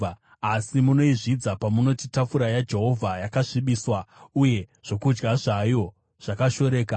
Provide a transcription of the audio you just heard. “Asi munoizvidza pamunoti, ‘Tafura yaJehovha yakasvibiswa, uye zvokudya zvayo zvakashoreka.’